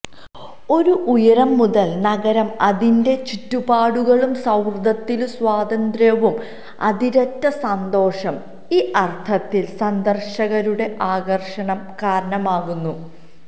ഒരു ഉയരം മുതൽ നഗരം അതിന്റെ ചുറ്റുപാടുകളും സൌഹൃദത്തിലും സ്വാതന്ത്ര്യവും അതിരറ്റ സന്തോഷം ഈ അർത്ഥത്തിൽ സന്ദർശകരുടെ ആകർഷണം കാരണമാകുന്നു